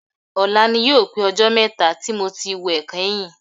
Ọ̀la ni yóò pé ọjọ́ mẹ́ta tí mo ti wẹ̀ kẹ́yìn